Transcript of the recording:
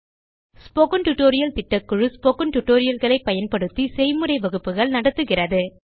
spoken tutorial திட்டக்குழு spoken tutorial களை பயன்படுத்தி செய்முறை வகுப்புகள் நடத்துகிறது